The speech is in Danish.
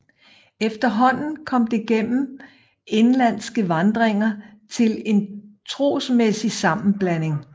Efterhånden kom det gennem indenlandske vandringer til en trosmæssig sammenblanding